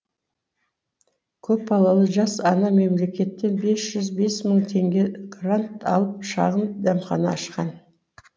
көпбалалы жас ана мемлекеттен бес жүз бес мың теңге грант алып шағын дәмхана ашқан